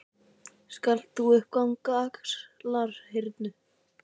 Skalt þú nú ganga upp á Axlarhyrnu.